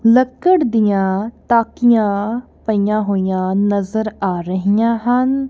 ਲੱਕੜ ਦੀਆਂ ਤਾਕਿੱਯਾਂ ਪਈਆਂ ਹੋਈਆਂ ਨਜ਼ਰ ਆ ਰਹੀਆਂ ਹਨ।